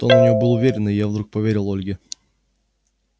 тон у нее был уверенный и я вдруг поверил ольге